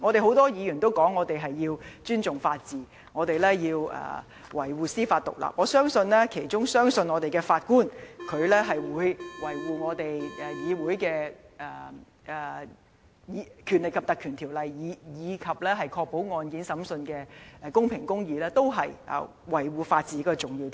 很多議員也表示要尊重法治及維護司法獨立，我相信有關的法官亦相信，維護議會的《條例》及確保案件審訊的公平和公義，都是維護法治的重要條件。